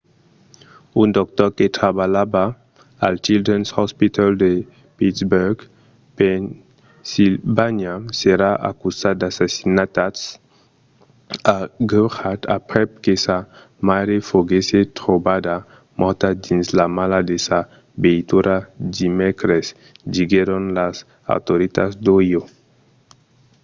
un doctor que trabalhava al children's hospital de pittsburgh pennsilvània serà acusat d'assassinat agreujat aprèp que sa maire foguèsse trobada mòrta dins la mala de sa veitura dimècres diguèron las autoritats d'ohio